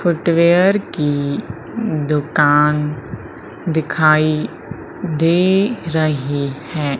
Footwear की दुकान दिखाई दे रही है।